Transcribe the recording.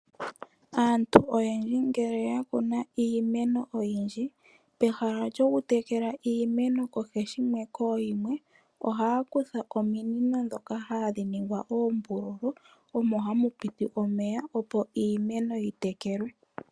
Aantu oyendji ngele ya kuna iimeno oyindji. Peha lyokutekela iimeno kooshinwe nooshimwe . Ohaya kutha ominino ndhoka hadhi ningwa oombululu omo hamu piti omeya opo iimeno yi tekelwe.